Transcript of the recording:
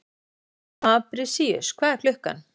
Fabrisíus, hvað er klukkan?